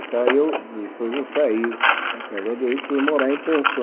Daí eu, depois eu saí da casa deles e fui morar em pensão.